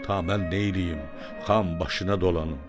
Ta mən neyləyim, xan başına dolanım.